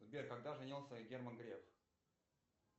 сбер когда женился герман греф